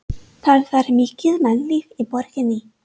Það var mikið mannlíf í borginni.